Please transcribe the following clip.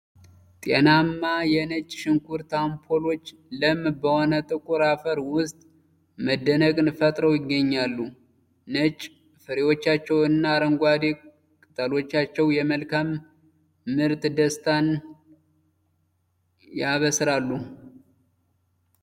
ጤናማ የነጭ ሽንኩርት አምፖሎች ለም በሆነ ጥቁር አፈር ውስጥ መደነቅን ፈጥረው ይገኛሉ። ነጭ ፍሬዎቻቸውና አረንጓዴ ቅጠሎቻቸው የመልካም ምርትን ደስታ ያበስራሉ።